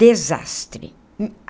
Desastre.